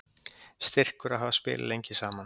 Styrkur að hafa spilað lengi saman